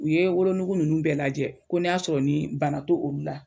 U ye wolonugu nunnu bɛɛ lajɛ ko n'i y'a sɔrɔ nin bana t'olu la